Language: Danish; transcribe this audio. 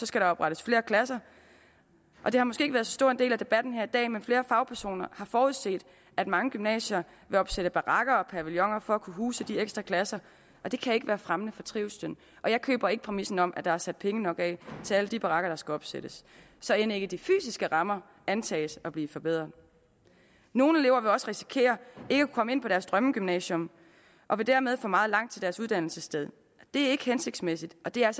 skal der oprettes flere klasser det har måske ikke været så stor en del af debatten i dag men flere fagpersoner har forudset at mange gymnasier vil opsætte barakker og pavilloner for at kunne huse de ekstra klasser det kan ikke være fremmende for trivslen og jeg køber ikke præmissen om at der er sat penge nok af til alle de barakker der skal opsættes så end ikke de fysiske rammer antages at blive forbedret nogle elever kan også risikere ikke at komme ind på deres drømmegymnasium og vil dermed få meget langt til deres uddannelsessted det er ikke hensigtsmæssigt og det er